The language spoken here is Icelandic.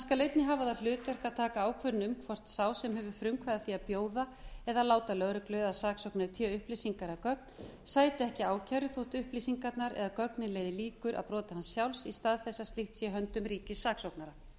skal einnig hafa það hlutverk að taka ákvörðun um hvort sá sem hefur frumkvæði að því að bjóða eða láta lögreglu eða saksóknara í té upplýsingar eða gögn sæta ekki ákæru þótt upplýsingarnar eða gögnin leiði líkur að broti hans sjálfs í stað þess að slíkt sé í höndum ríkissaksóknara er